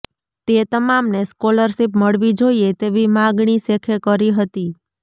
તે તમામને સ્કોલરશીપ મળવી જોઈએ તેવી માગણી શેખે કરી હતી